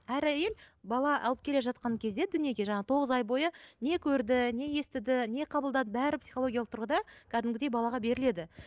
әр әйел бала алып келе жатқан кезде дүниеге жаңағы тоғыз ай бойы не көрді не естіді не қабылдады бәрі психологиялық тұрғыда кәдімгідей балаға беріледі